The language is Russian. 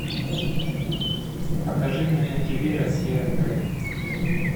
покажи мне на ти ви россия к